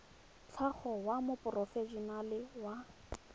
tlhago wa moporofe enale mo